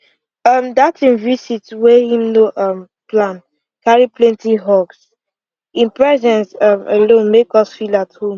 um dat him vist wey him no um plan carry plenty hugs him presence um alone make us feel at home